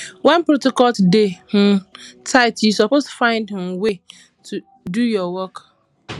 wen protocol dey um tight you suppose find um way do your work